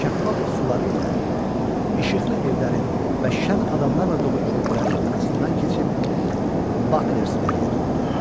Şəffaf suları ilə işıqlı evlərin və şən adamlarla dolu körpülərin arasından keçib Baklersberiyə döndü.